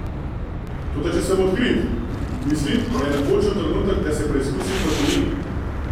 Toda če sem odkrit, mislim, da je napočil trenutek, da se preizkusim v tujini.